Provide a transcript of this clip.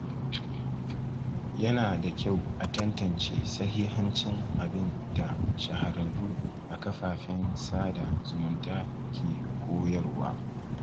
Yana da kyau a tantance sahihancin abin da shahararru a kafafen sada zumunta ke koyarwa.